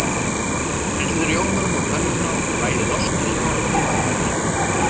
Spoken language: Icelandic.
Hellið rjómanum á pönnuna og bræðið ostinn í honum við vægan hita.